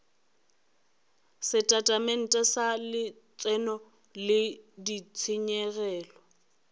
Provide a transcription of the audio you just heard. setatamente sa letseno le ditshenyegelo